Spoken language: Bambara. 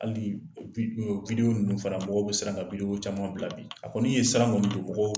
Hali ninnu fana mɔgɔw bɛ siran ka caman bila bi, a kɔni ye saran kɔni don mɔgɔw